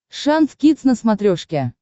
шант кидс на смотрешке